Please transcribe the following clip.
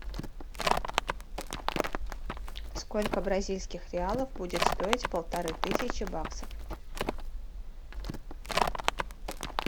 сколько бразильских реалов будет стоить полторы тысячи баксов